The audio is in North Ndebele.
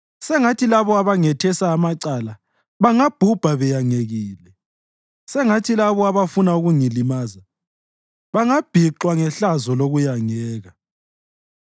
Sengathi labo abangethesa amacala bangabhubha beyangekile; sengathi labo abafuna ukungilimaza bangabhixwa ngehlazo lokuyangeka.